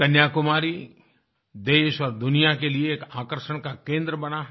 कन्याकुमारी देश और दुनिया के लिए एक आकर्षण का केंद्र बना है